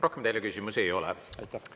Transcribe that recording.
Rohkem teile küsimusi ei ole.